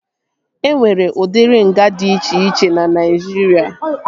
E nwere udiri nga dị iche iche na Naijiria